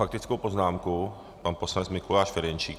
Faktická poznámka pan poslanec Mikuláš Ferjenčík.